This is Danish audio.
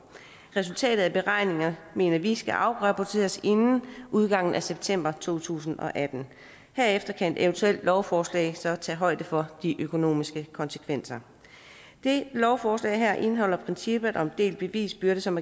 resultatet af beregningerne mener vi skal afrapporteres inden udgangen af september to tusind og atten herefter kan et eventuelt lovforslag så tage højde for de økonomiske konsekvenser det lovforslag her indeholder princippet om delt bevisbyrde som